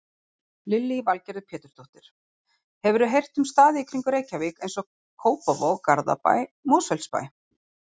Lillý Valgerður Pétursdóttir: Hefurðu heyrt um staði í kringum Reykjavík, eins og Kópavog, Garðabæ, Mosfellsbæ?